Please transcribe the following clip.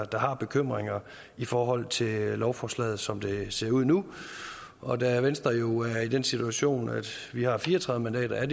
der har bekymringer i forhold til lovforslaget som det ser ud nu og da venstre jo er i den situation at vi har fire og tredive mandater er